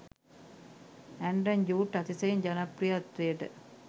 Anton Jude අතිශයින් ජනප්‍රියත්වයට